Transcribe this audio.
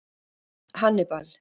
Hannibal